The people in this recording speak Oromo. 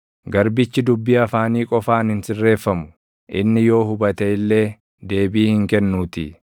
Garbichi dubbii afaanii qofaan hin sirreeffamu; inni yoo hubate illee deebii hin kennuutii.